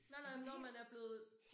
Nej nej men når man er blevet